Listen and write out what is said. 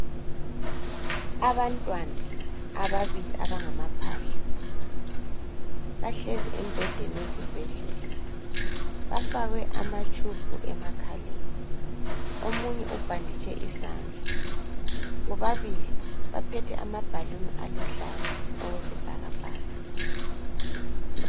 Abantwana ababili abangamaphahla bahlezi embhedeni wesibhedlela. Bafakwe amatshubhu emakhaleni. Omunye ubhanditshe isandla. Bobabili baphethe amabhaluni aluhlaza okwesibhakabhaka.